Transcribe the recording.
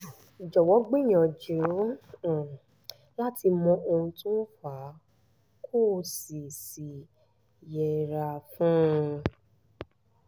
jọ̀wọ́ gbìyànjú láti mọ ohun tó fà á kó o sì sì yẹra fún un